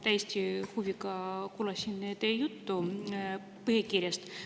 Täiesti huviga kuulasin teie juttu põhikirjast.